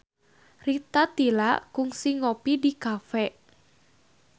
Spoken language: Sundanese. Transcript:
Rita Tila kungsi ngopi di cafe